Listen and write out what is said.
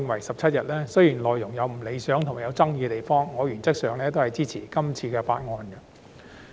雖然內容有不理想和具爭議之處，但我原則上是支持的。